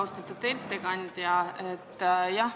Austatud ettekandja!